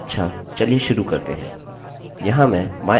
अच्छा! चलिए शुरू करते हैं